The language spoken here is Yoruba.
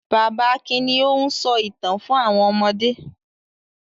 Bàbá Akin ni ó ń sọ ìtàn fún àwọn ọmọdé.